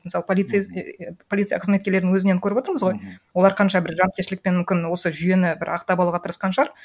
мысалы полиция қызметкерлерінің өзінен көріп отырмыз ғой олар қанша бір жауапкершілікпен мүмкін осы жүйені бір ақтап алуға тырысқан шығар